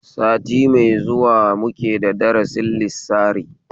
Sati mai zuwa muke da darasin lissari